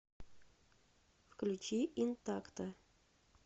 включи интакто